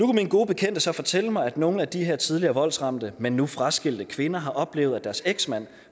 mine gode bekendte så fortælle mig at nogle af de her tidligere voldsramte men nu fraskilte kvinder har oplevet at deres eksmand